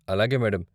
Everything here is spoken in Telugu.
అలాగే మేడమ్ .